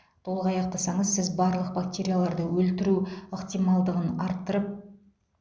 толық аяқтасаңыз сіз барлық бактерияларды өлтіру ықтималдығын арттырып